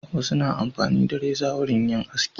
Wasu na amfani na reza wurin yin aski.